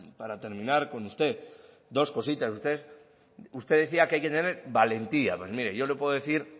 para terminar con usted dos cositas usted decía que hay que tener valentía pues mire yo le puedo decir